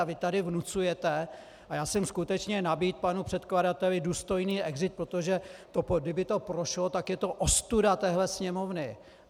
A vy tady vnucujete - a já jsem skutečně nabídl panu předkladateli důstojný exit, protože kdyby to prošlo, tak je to ostuda téhle Sněmovny.